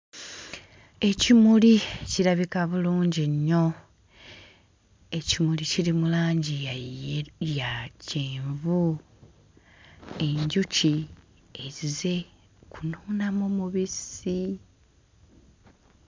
Ekimuli kirabika bulungi nnyo ekimuli kiri mu langi ya ye ya kyenvu enjuki ezize kunuunamu mubisi.